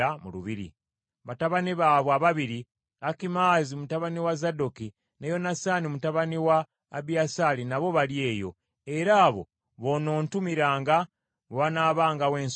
Batabani baabwe ababiri, Akimaazi mutabani wa Zadooki ne Yonasaani mutabani wa Abiyasaali nabo bali eyo, era abo boonoontumiranga bwe wanaabangawo ensonga yonna.”